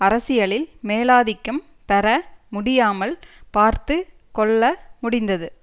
அரசியலில் மேலாதிக்கம் பெற முடியாமல் பார்த்து கொள்ள முடிந்தது